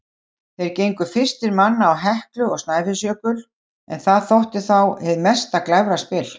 Þeir gengu fyrstir manna á Heklu og Snæfellsjökul, en það þótti þá hið mesta glæfraspil.